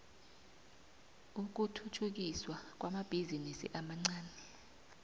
ukuthuthukiswa kwamabhizinisi amancani